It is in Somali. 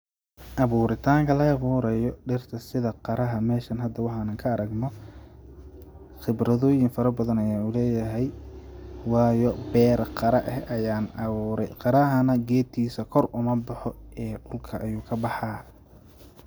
Abuuritanka la abuurayo dhirta sida qaraha meshani hada waxaan ka aragno khibradooyin fara badan ayan uleyahay, waayo beera qara ah ayaan aburay, qaraha nah geedkisa kor umaboxo dhulka ayuu kabaxaa